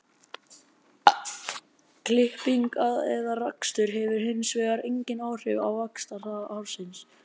Klipping eða rakstur hefur hins vegar engin áhrif á vaxtarhraða hársins.